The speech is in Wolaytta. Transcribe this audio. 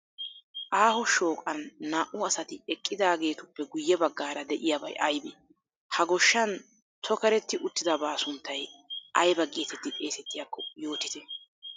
Aaho shooqan naa"u asati eqqidaageetu ppe guyye baggaara diyabay ayibee? Ha goshshan tokerti uttida baa sunttay ayiba geetetti xeesettiyaakko yootite?